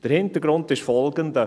Der Hintergrund ist folgender: